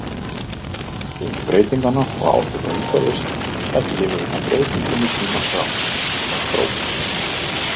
Vegna arfgengu breytinganna og áhrifa umhverfis taki lífverurnar breytingum í tímans rás, þær þróist.